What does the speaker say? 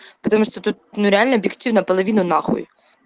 потому что тут ну реально объективно половина на хуй